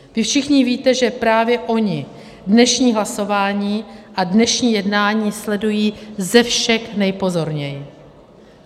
Vy všichni víte, že právě oni dnešní hlasování a dnešní jednání sledují ze všech nejpozorněji.